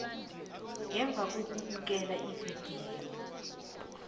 ngemva kokubukela ividiyo